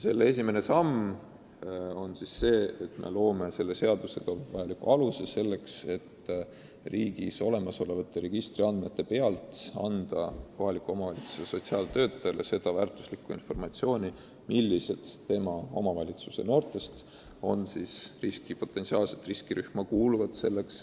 Esimene samm on see, et me loome selle seadusega vajaliku aluse, et kohaliku omavalitsuse sotsiaaltöötajad saaksid riigis olemasolevatest registritest informatsiooni, millised kohalikud noored potentsiaalselt riskirühma kuuluvad.